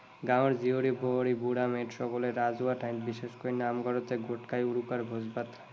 গাঁৱৰ জীয়ৰী বোৱাৰী, বুঢ়া মেথা সকলে ৰাজহুৱা ঠাইত, বিশেষকৈ নামঘৰত গোট খাই উৰুকাৰ ভোজ ভাত খায়।